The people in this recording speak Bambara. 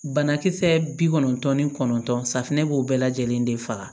Banakisɛ bi kɔnɔntɔn ni kɔnɔntɔn safunɛ b'o bɛɛ lajɛlen de faga